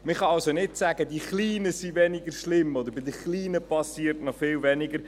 Man kann also nicht sagen, die Kleinen seien weniger schlimm oder bei den Kleinen geschehe viel weniger.